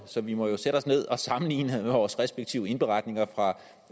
så vi må jo sætte os ned og sammenligne vores respektive indberetninger fra